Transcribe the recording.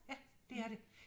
Ja det er det